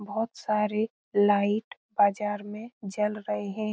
बहोत सारे लाइट बाज़ार में जल रहें हैं |